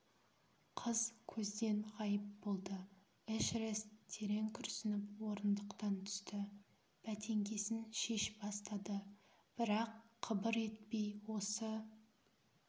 қыз көзден ғайып болды эшерест терең күрсініп орындықтан түсті бәтеңкесін шеш бастады бірақ қыбыр етпей осы